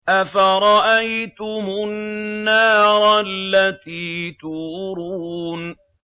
أَفَرَأَيْتُمُ النَّارَ الَّتِي تُورُونَ